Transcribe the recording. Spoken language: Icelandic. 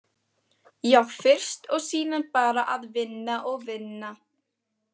Já, fyrst og síðan bara að vinna og vinna.